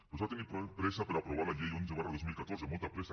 però s’ha tingut pressa per aprovar la llei onze dos mil catorze molta pressa